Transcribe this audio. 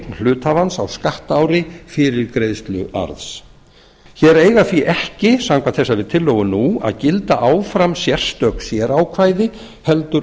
hluthafans á skattaári fyrir greiðslu arðs hér eiga því ekki samkvæmt þessari tillögu nú að gilda áfram sérstök sérákvæði heldur